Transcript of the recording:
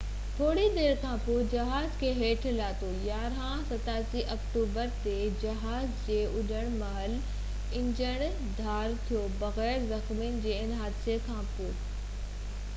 7 October تي جهاز جي اُڏڻ مهل انجڻ ڌار ٿيو بغير زخمين جي ان حادثي کانپونءِ روس il-76 کي ٿوري دير کانپوءِ جهاز کي هيٺ لاٿو